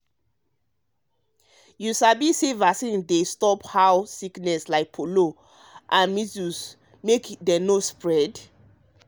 you sabi say vaccine dey stop how sickness like polio and polio and measles make dem no spread?